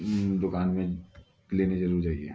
हम्म दुकान में लेने जरूर जाइये।